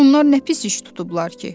Onlar nə pis iş tutublar ki?